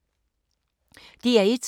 DR1